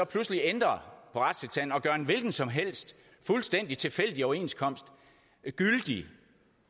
pludselig ændrer på retstilstanden og gør en hvilken som helst fuldstændig tilfældig overenskomst gyldig